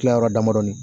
Tila yɔrɔ damadɔni